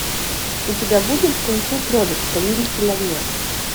у тебя будет кунг фу кролик повелитель огня